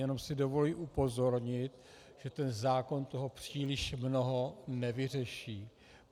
Jenom si dovolím upozornit, že ten zákon toho příliš mnoho nevyřeší.